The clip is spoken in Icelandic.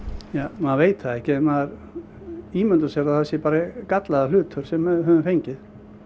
maður veit það ekki en maður ímyndar sér að það sé bara gallaður hlutur sem maður hefur fengið